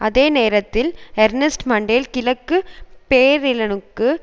அதே நேரத்தில் Ernest Mandel கிழக்கு பேர்லினுக்கு